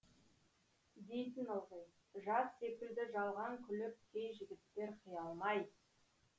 дейтін ылғи жаз секілді жалған күліп кей жігіттер қия алмай